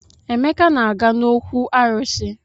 Emeka na-aga n'òkwù arụsị.